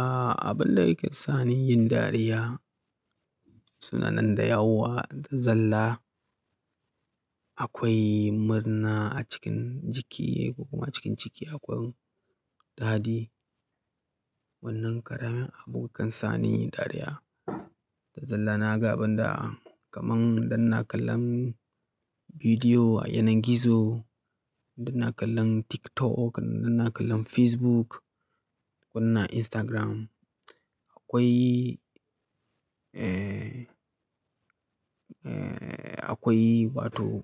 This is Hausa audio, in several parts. A, abin da yake sani yin dariya, suna nan da yawa da zalla. Akwai murna a cikin jiki ko kuma cikin ciki akwai dadi. Wannan ƙarami abun kan sani dariya. Da zalla na ga abinda kamar idan na kallon bidiyo a yanar gizo, idan na kallon TikTok, idan na kallon Facebook ko na Instagram. Akwai, eh, akwai wato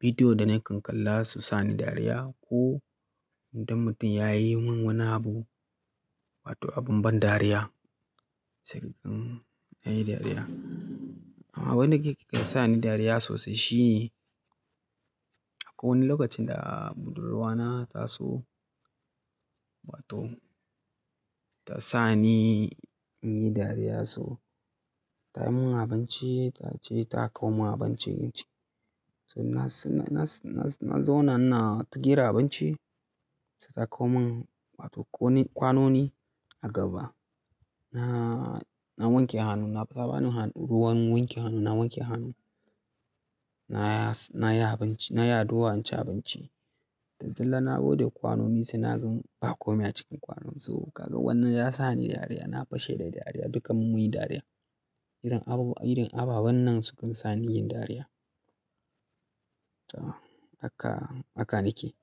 bidiyo da nakan kalla su sani dariya ko idan mutum ya yi min wani abu wato abin ban dariya, sai ɗan yi dariya. Amma abin da yake sani dariya sosai shi, ko wani lokacin da budurwa na ta so wato ta sani in yi dariya so ta yi mun abinci, ta ce ta kawo mun abinci. Na zauna ina ta gira abinci sai ta kawo mun wato kwanoni a gaba. Na wanke hannu, ta ba ni ruwan wanke hannu, na wanke hannu. Na yi abinci, na yi addu'a in ci abinci. Da zalla na bude kwanoni sai na gan ba komai a cikin kwanon. So kaga wannan ya sa ni dariya, na fashe da dariya, dukkan mu yi dariya. Irin abubuwan nan sukan sani yin dariya. Haka, haka nake.